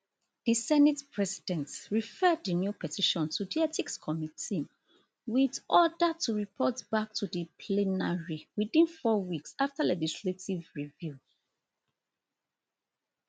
di senate president refer di new petition to di ethics committee wit order to report back to di plenary within four weeks afta legislative review